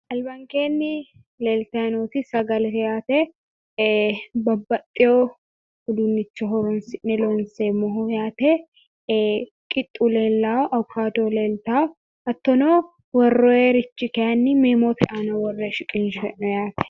Albankeenni leeltayi nooti sagalete yaate babaxxewu uduunnicho horonsi'ne loonseemmoho yaate qixxu leellawu awukaado leeltawu hattono worroyirichi kayinni meemote aana worre shiqinshoyi'ne yaate